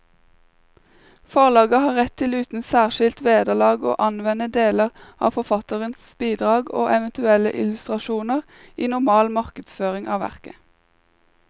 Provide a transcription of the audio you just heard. Forlaget har rett til uten særskilt vederlag å anvende deler av forfatterens bidrag og eventuelle illustrasjoner i normal markedsføring av verket.